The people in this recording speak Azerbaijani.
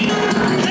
Heydər!